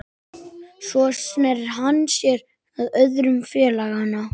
Svo sneri hann sér að öðrum félaganna